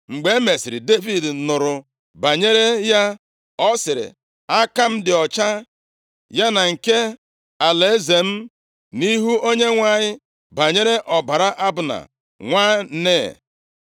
Mgbe emesịrị, Devid nụrụ banyere ya, ọ sịrị, “Aka m dị ọcha, ya na nke alaeze m nʼihu Onyenwe anyị banyere ọbara Abna, nwa Nea.